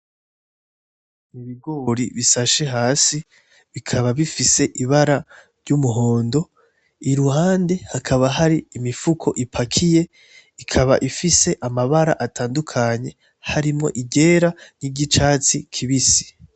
Ibigori bisashe hasi bikaba bifise ibara ry'umuhondo, iruhande hakaba hari imifuko ipakiye, ikaba ifise amabara atandukanye harimwo iryera n'iry'icatsi kibisi.